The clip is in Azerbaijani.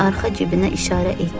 İqor arxa cibinə işarə etdi.